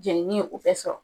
Jɛninin o bɛ sɔrɔ